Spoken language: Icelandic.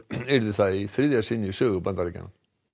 yrði það í þriðja sinn í sögu Bandaríkjanna